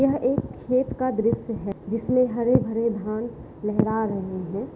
यह एक खेत का दृश्य है जिसमे हरे-भरे धान लेहरा रहे है।